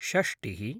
षष्टिः